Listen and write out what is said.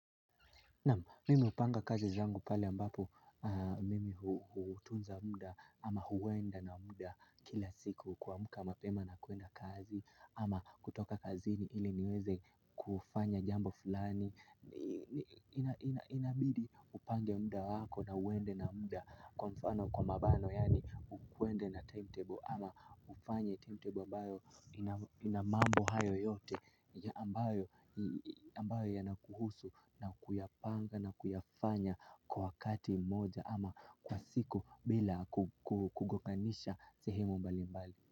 Mimi hupanga kazi zangu pahali ambapo mimi hutunza muda ama huenda na muda kila siku kuamka mapema na kuenda kazi. Ama kutoka kazini ili niweze kufanya jambo fulani. Inabidi upange muda wako na uende na muda kwa mfano kwa mabano yaani uende na timetable. Ama ufanye timetable ambayo inamambo hayo yote ambayo yanakuhusu na kuyapanga na kuyafanya kwa wakati moja ama kwa siku bila kugonganisha sehemu mbali mbali.